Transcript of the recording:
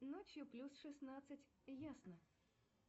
ночью плюс шестнадцать ясно